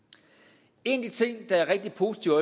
en af de ting der er rigtig positive